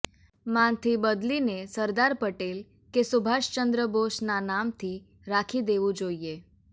માંથી બદલીને સરદાર પટેલ કે સુભાષ ચંદ્ર બોઝના નામથી રાખી દેવુ જોઈએ